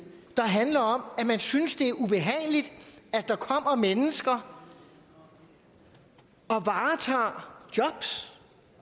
der handler om at man synes det er ubehageligt at der kommer mennesker og varetager jobs